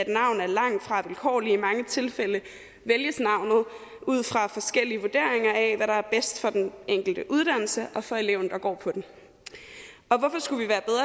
navn er langtfra vilkårligt i mange tilfælde vælges navnet ud fra forskellige vurderinger af hvad der er bedst for den enkelte uddannelse og for eleven der går på den